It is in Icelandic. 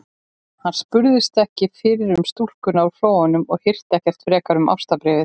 Hann spurðist ekki fyrir um stúlkuna úr Flóanum og hirti ekki frekar um ástarbréfið.